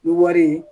Ni wari